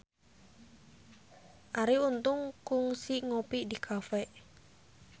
Arie Untung kungsi ngopi di cafe